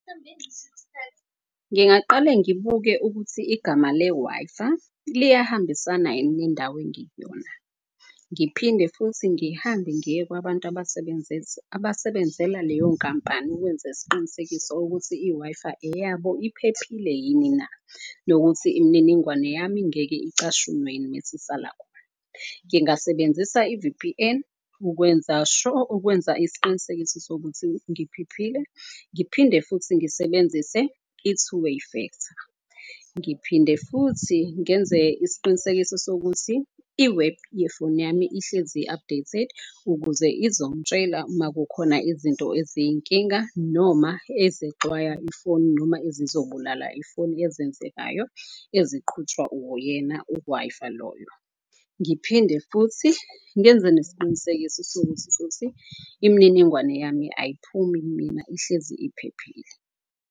Ngingaqale ngibuke ukuthi igama le-WI-Fi liyahambisana yini nendawo engikuyona. Ngiphinde futhi ngihambe ngiye kwabantu abasebenzela leyo nkampani ukwenza isiqinisekiso ukuthi i-Wi-Fi eyabo iphephile yini na. Nokuthi imniningwane yami ngeke icashunwe yini mese isala khona. Ngingasebenzisa i-V_P_N ukwenza sho, ukwenza isiqinisekiso sokuthi ngiphephile. Ngiphinde futhi ngisebenzise i-two way factor, ngiphinde futhi ngenze isiqinisekiso sokuthi i-web yefoni yami ihlezi i-updated, ukuze izongitshela uma kukhona izinto eziyinkinga, noma ezixwaya ifoni, noma ezizobulala ifoni ezenzekayo eziqhutshwa uyena u-Wi-Fi loyo. Ngiphinde futhi ngenze nesiqiniseko sokuthi futhi imniningwane yami ayiphumi kumina ihlezi iphephile.